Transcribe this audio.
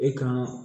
E ka